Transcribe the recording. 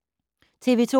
TV 2